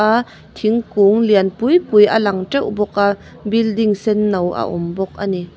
thingkung lian pui pui a lang ṭeuh bawk a building senno a awm bawk a ni.